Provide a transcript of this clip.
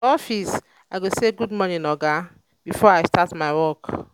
for office i go say "good morning oga" before i start my work.